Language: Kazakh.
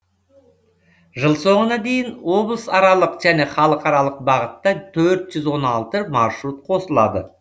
жыл соңына дейін облысаралық және халықаралық бағытта төрт жүз он алты маршрут қосылады